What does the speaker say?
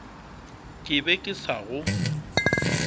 ke be ke sa go